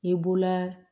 I b'o la